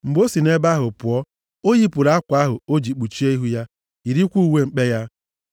Mgbe o si nʼebe ahụ pụọ, o yipụrụ akwa ahụ o ji kpuchie ihu ya, yirikwa uwe mkpe ya.